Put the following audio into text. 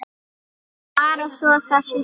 Bara svo það sé sagt.